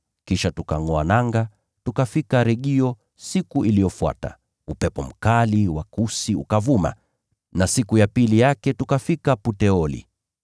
Kisha tukangʼoa nanga, tukafika Regio. Siku iliyofuata, upepo mkali wa kusi ukavuma, na siku ya pili yake tukafika Puteoli.